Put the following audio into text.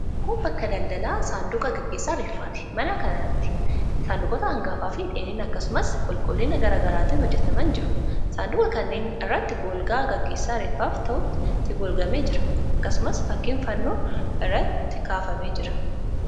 Kun bakka daldalaa saanduqa gaggeessaa reeffaati. Mana kanatti saanduqoota hangaafi dheerina, akkasumas qulqullina garaa garaatiin hojjetamanii jiru. Saanduqa kanneen irratti golgaa gaggeessaa reeffaaf ta'utu itti golgamee jira. Akkasumas fakkiin fannoo irratti kaafamee jira.